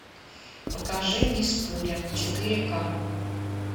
покажи мисс пуля четыре ка